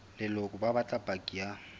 leloko ba batla paki ya